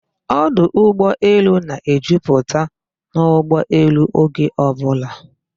Ọdọ ụgbọelu na-ejuputa n'ụgbọelu oge ọbụla